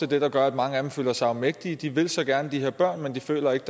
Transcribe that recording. det der gør at mange af dem føler sig afmægtige de vil så gerne de her børn men de føler ikke